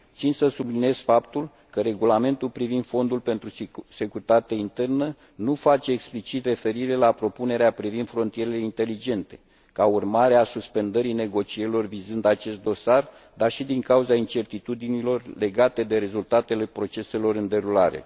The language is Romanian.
Țin să subliniez faptul că Regulamentul privind Fondul pentru securitate internă nu face explicit referire la propunerea privind frontierele inteligente, ca urmare a suspendării negocierilor vizând acest dosar, dar și din cauza incertitudinilor legate de rezultatele proceselor în derulare.